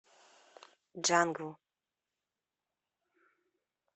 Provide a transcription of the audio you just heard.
джангл